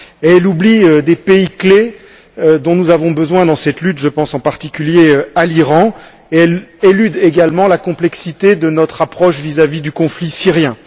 Elle oublie des pays clés dont nous avons besoin dans cette lutte je pense en particulier à l'Iran et élude également la complexité de notre approche vis à vis du conflit syrien.